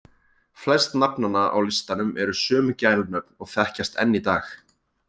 Flest nafnanna á listanum eru sömu gælunöfn og þekkjast enn í dag.